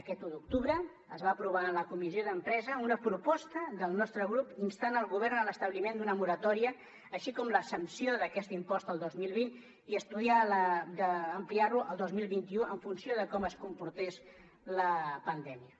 aquest un d’octubre es va aprovar en la comissió d’empresa una proposta del nostre grup instant el govern a l’establiment d’una moratòria així com l’exempció d’aquest impost al dos mil vint i estudiar d’ampliar ho al dos mil vint u en funció de com es comportés la pandèmia